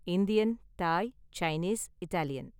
Indian, Thai, Chinese, Italian